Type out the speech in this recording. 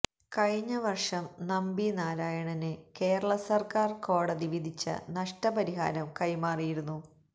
കഴിഞ്ഞ വര്ഷം നമ്പി നാരായണന് കേരള സര്ക്കാര് കോടതി വിധിച്ച നഷ്ടപരിഹാരം കൈമാറിയിരുന്നു